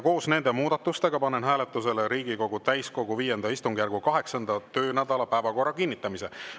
Koos nende muudatustega panen hääletusele Riigikogu täiskogu V istungjärgu 8. töönädala päevakorra kinnitamise.